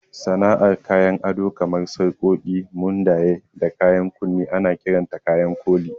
Sana'ar kayan ado kamar sarƙoƙi, mundaye, da 'yan kunne ana kiranta kayan koli.